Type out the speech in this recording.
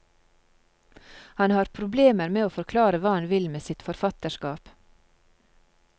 Han har problemer med å forklare hva han vil med sitt forfatterskap.